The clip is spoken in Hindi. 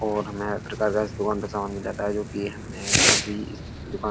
और हमें हर प्रकार का इस दुकान पे समान मिल जाता है जो की हमें काफी इस दुकान --